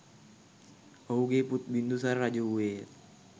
ඔහුගේ පුත් බිංදුසාර රජ වූයේය